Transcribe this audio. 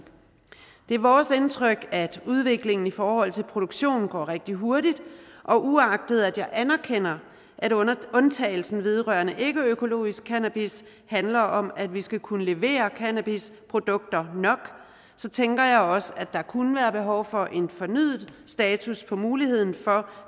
det er vores indtryk at udviklingen i forhold til produktionen går rigtig hurtigt og uagtet at jeg anerkender at undtagelsen vedrørende ikkeøkologisk cannabis handler om at vi skal kunne levere cannabisprodukter nok så tænker jeg også at der kunne være behov for en fornyet status af muligheden for